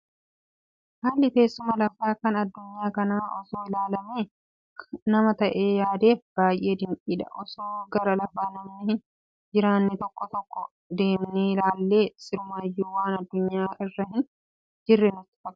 Haalli teessuma lafaa kan addunyaa kanaa osoo ilaalamee nama taa'ee yaadeef baay'ee dinqiidha. Osoo gara lafa namni hin jiraanne tokko tokkoo deemnee ilaallee sirumayyuu waan addunyaa irra hin jirre nutti fakkaata.